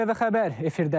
ATV xəbər efirdədir.